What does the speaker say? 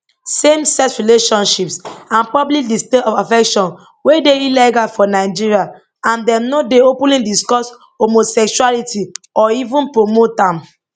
samesex relationships and public displays of affection wey dey illegal for nigeria and dem no dey openly discuss homosexuality or even promote am